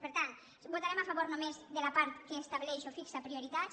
per tant votarem a favor només de la part que estableix o fixa prioritats